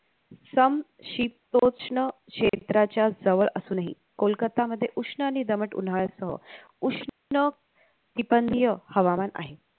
समशीत रुक्षण क्षेत्राच्या जवळ असूनही कोलकत्ता मध्ये उष्ण आणि दमट उन्हाळासह उष्ण तीपंदीय हवामान आहे